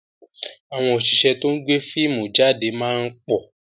Àwọn òṣìṣẹ́ to ń gbé fíìmù jáde máa ń pọ̀